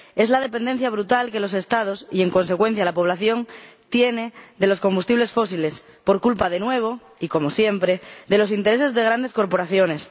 Es la dependencia brutal que los Estados —y, en consecuencia, la población— tienen de los combustibles fósiles, por culpa, de nuevo y como siempre, de los intereses de grandes corporaciones.